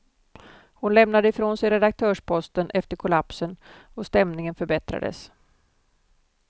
Hon lämnade ifrån sig redaktörsposten efter kollapsen och stämningen förbättrades.